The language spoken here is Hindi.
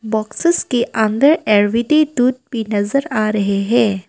बॉक्स के अंदर दूध भी नजर आ रहे हैं।